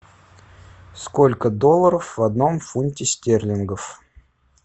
сколько долларов в одном фунте стерлингов